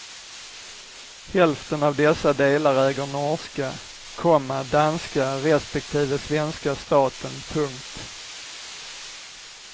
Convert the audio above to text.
Hälften av dessa delar äger norska, komma danska respektive svenska staten. punkt